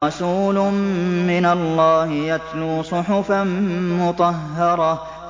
رَسُولٌ مِّنَ اللَّهِ يَتْلُو صُحُفًا مُّطَهَّرَةً